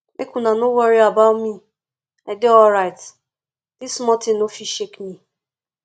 make una no worry about me i dey alright dis small thing no go fit shake me